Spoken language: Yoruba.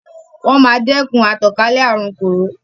Wọ́n máa dẹkun àtànkálẹ̀ àrun kòró.